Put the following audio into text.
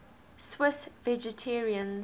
swiss vegetarians